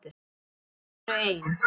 Þau eru ein.